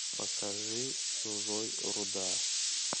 покажи чужой руда